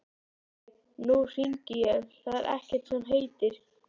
Nei, nú hringi ég, það er ekkert sem heitir!